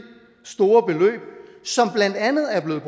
store beløb som blandt andet er blevet